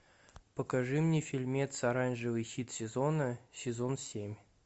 покажи мне фильмец оранжевый хит сезона сезон семь